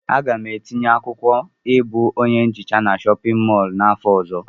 Aga m etinye akwụkwọ ịbụ onye nhicha na chọpịn mọọlụ n'afọ ọzọ.